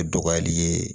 E dɔgɔyali ye